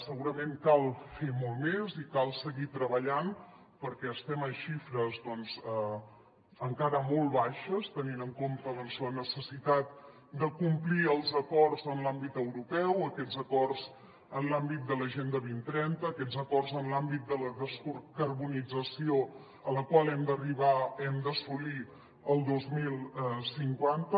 segurament cal fer molt més i cal seguir treballant perquè estem en xifres doncs encara molt baixes tenint en compte la necessitat de complir els acords en l’àmbit europeu aquests acords en l’àmbit de l’agenda dos mil trenta aquests acords en l’àmbit de la descarbonització a la qual hem d’arribar hem d’assolir el dos mil cinquanta